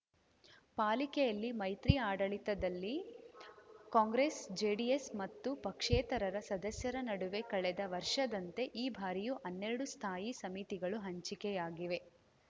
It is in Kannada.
ಪಾಲಿಕೆಯಲ್ಲಿ ಮೈತ್ರಿ ಆಡಳಿತದಲ್ಲಿ ಕಾಂಗ್ರೆಸ್‌ ಜೆಡಿಎಸ್‌ ಮತ್ತು ಪಕ್ಷೇತರರ ಸದಸ್ಯರ ನಡುವೆ ಕಳೆದ ವರ್ಷದಂತೆ ಈ ಬಾರಿಯೂ ಹನ್ನೆರಡು ಸ್ಥಾಯಿ ಸಮಿತಿಗಳು ಹಂಚಿಕೆಯಾಗಿವೆ